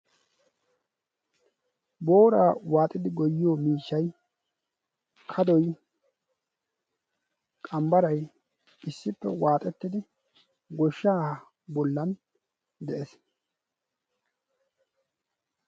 booraa waaxidi goyyiyo miishshai kadoi qambbarai issippe waaxettidi goshsha bollan de7ees